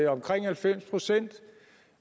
omkring halvfems procent